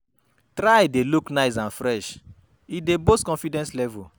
Try de look nice and fresh e dey boost confidence level